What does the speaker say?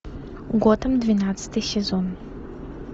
готэм двенадцатый сезон